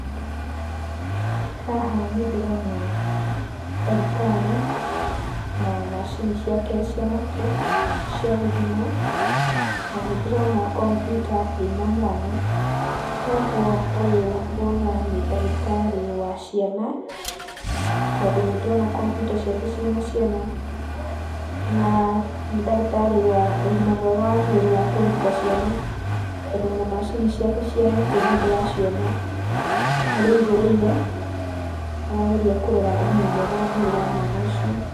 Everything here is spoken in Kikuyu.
Haha nĩndĩrona ndagĩtarĩ na macini ciake cia matũ cia gũthima. Na nĩndĩrona kombiuta ĩna mwana, toguo ũyũ ngona nĩ ndagĩtarĩ wa ciana, tondũ nĩndĩrona kombiuta ciake ciĩna ciana. Naa nĩ ndagĩtarĩ wa ũgima mwega wa mwĩrĩ wa kũrigita ciana, tondũ ona macini ciake cia matũ nĩndĩraciona harĩa aigĩrĩire, arageria kũrora ũgima mwega wa mwĩrĩ wa mwana ũcio.